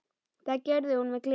Það gerði hún með gleði.